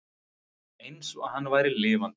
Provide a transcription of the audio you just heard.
Eins og hann væri lifandi.